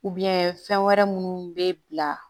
fɛn wɛrɛ minnu bɛ bila